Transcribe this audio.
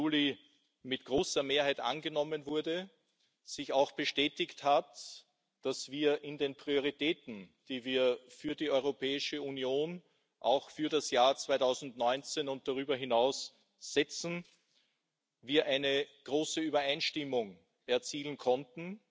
5. Juli mit großer Mehrheit angenommen wurde, bestätigt hat, dass wir in den Prioritäten, die wir für die Europäische Union für das Jahr 2019 und darüber hinaus setzen, eine große Übereinstimmung erzielen konnten.